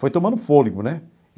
Foi tomando fôlego, né?